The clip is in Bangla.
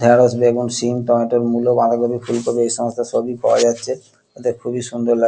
ঢেঁড়স বেগুন সিম টমেটো মূল বাঁধাকপি ফুলকপি এই সমস্ত সবই পাওয়া যাচ্ছে এতে খুবই সুন্দর লাগ--